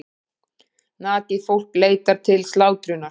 Nakið fólk leitt til slátrunar.